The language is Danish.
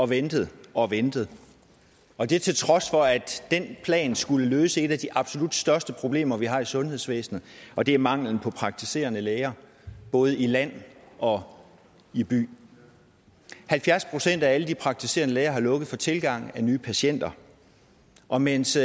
ventet og ventet og det til trods for at den plan skulle løse et af de absolut største problemer vi har i sundhedsvæsenet og det er manglen på praktiserende læger både i land og i by halvfjerds procent af alle de praktiserende læger har lukket for tilgang af nye patienter og mens